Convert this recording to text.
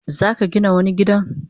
Zaka Gina wani gidan?